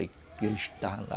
está lá